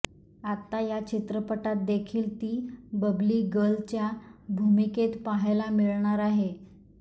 आता या चित्रपटात देखील ती बबली गर्लच्या भूमिकेत पाहायला मिळणार आहे